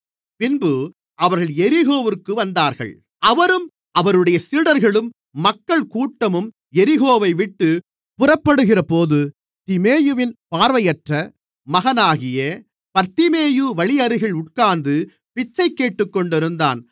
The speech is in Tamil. பின்பு அவர்கள் எரிகோவிற்கு வந்தார்கள் அவரும் அவருடைய சீடர்களும் மக்கள் கூட்டமும் எரிகோவைவிட்டுப் புறப்படுகிறபோது திமேயுவின் பார்வையற்ற மகனாகிய பர்திமேயு வழியருகில் உட்கார்ந்து பிச்சை கேட்டுக்கொண்டிருந்தான்